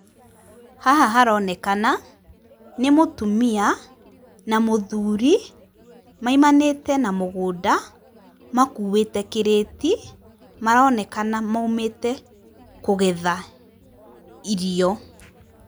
Haha haronekana nĩ mũtumia na mũthuri, maimanĩte na mũgũnda, makuwĩte kĩrĩti, maronekana maumĩte kũgetha irio.